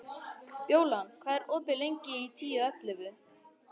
Bjólan, hvað er opið lengi í Tíu ellefu?